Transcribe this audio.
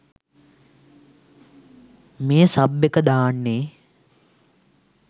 මේ සබ් එක දාන්නේ.